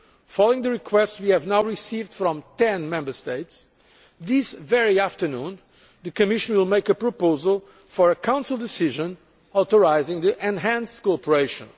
Following the requests we have now received from 10 Member States, this very afternoon the Commission will make a proposal for a Council decision authorising enhanced cooperation.